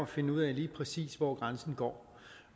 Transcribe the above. finde ud af lige præcis hvor grænsen går